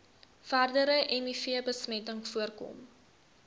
verdere mivbesmetting voorkom